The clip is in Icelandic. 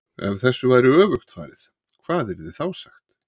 EF þessu væri öfugt farið, hvað yrði þá sagt?